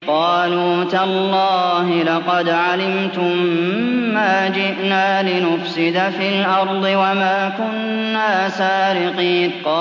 قَالُوا تَاللَّهِ لَقَدْ عَلِمْتُم مَّا جِئْنَا لِنُفْسِدَ فِي الْأَرْضِ وَمَا كُنَّا سَارِقِينَ